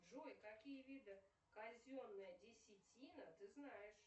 джой какие виды казенная десятина ты знаешь